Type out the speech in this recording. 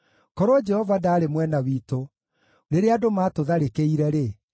Korwo Jehova ndaarĩ mwena witũ rĩrĩa andũ maatũtharĩkĩire-rĩ,